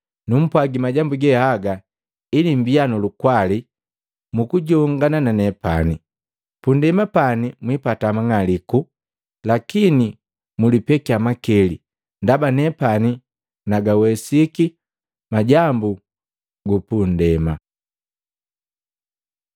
Numpwagi majambu ge haga ili mbia nu lukwali mukujongana na nepani. Punndema pani mwipata mang'aliku lakini mulipekia makili. Ndaba nepani nagawesiki majambu gupu nndema!”